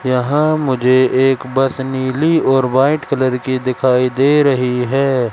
यहां मुझे एक बस नीली ओर वाइट कलर की दिखाई दे रही है।